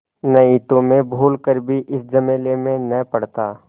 नहीं तो मैं भूल कर भी इस झमेले में न पड़ता